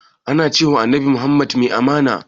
Ana cewa annabi muhammad mai amana?